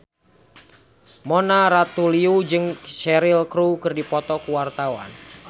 Mona Ratuliu jeung Cheryl Crow keur dipoto ku wartawan